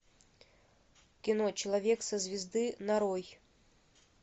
кино человек со звезды нарой